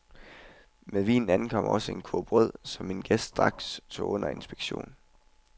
Med vinen ankom også en kurv brød, som min gæst straks tog under inspektion.